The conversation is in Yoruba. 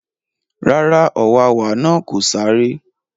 Rárá, ọ̀wàwà náà kò sáré